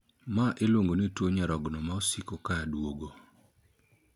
Maa iluongo ni tuo nyarogno ma osiko ka duogo.